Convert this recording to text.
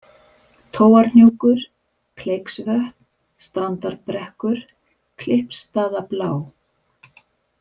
Tóarhnjúkur, Kleiksvötn, Strandarbrekkur, Klyppstaðablá